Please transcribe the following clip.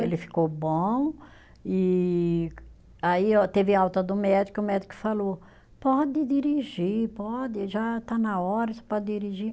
Ele ficou bom e aí ó, teve alta do médico, o médico falou, pode dirigir, pode, já está na hora, você pode dirigir.